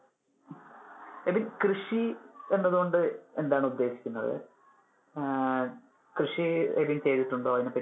എബിൻ കൃഷി എന്നതുകൊണ്ട് എന്താണ് ഉദ്ദേശിക്കുന്നത്? ആഹ് കൃഷി എബിൻ ചെയ്തിട്ടുണ്ടോ? അതിനെ പറ്റി